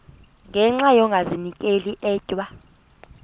ngenxa yokazinikela etywa